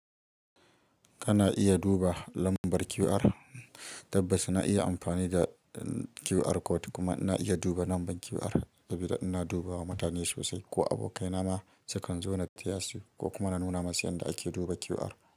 Kana iya duba lambar QR, tabbas na iya amfani da QR code kuma na iya duba lambar QR saboda ina dubawa mutane sosai ko abokai na ma sukan zo na taya su ko kuma na nuna masu yanda ake duba QR.